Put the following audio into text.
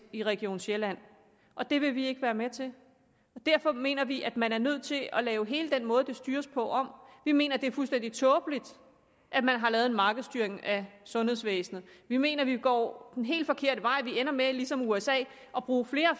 i region sjælland og det vil vi ikke være med til derfor mener vi at man er nødt til at lave hele den måde det styres på om vi mener det er fuldstændig tåbeligt at man har lavet en markedsstyring af sundhedsvæsenet vi mener vi går en helt forkert vej og vi ender med ligesom usa at bruge flere